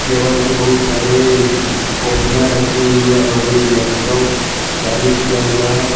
Table पे बहुत सारे कॉपियां रखी हुई है और एक लैपटॉप चालू किया हुआ है।